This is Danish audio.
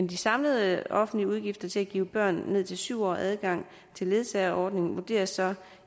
de samlede offentlige udgifter til at give børn ned til syv år adgang til ledsageordningen vurderes